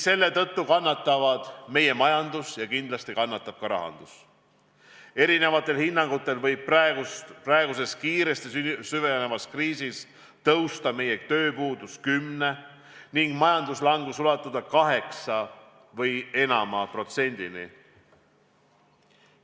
Selle tõttu kannatavad meie majandus ja kindlasti kannatab ka rahandus, eri hinnangutel võib praeguses kiiresti süvenevas kriisis suureneda meie tööpuudus 10%-ni ning majanduslangus ulatuda vähemalt 8%-ni.